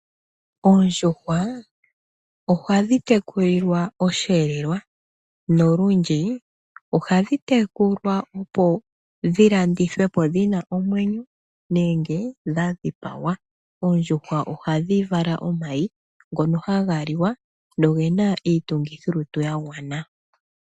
Oondjuhwa ohadhi tekulilwa oshi elelwa, nolundji ohadhi tekulwa opo dhi landithwepo dhina omwenyo nenge dha dhipagwa. Oondjuhwa ohadhi vala omayi ngono haga liwa nogena iitungithilutu ya gwana.